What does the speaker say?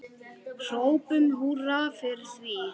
Hrópum húrra fyrir því.